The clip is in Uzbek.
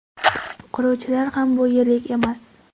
Quruvchilar ham bu yerlik emas.